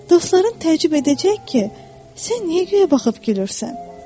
Dostların təəccüb edəcək ki, sən niyə guya baxıb gülürsən?